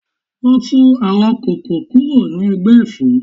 Lọ tú àwọn kóókò kúrò ní ẹ̀gbẹ́ Ẹ̀fọ́!